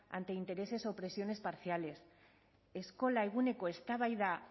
ante intereses o presiones parciales eskola eguneko eztabaida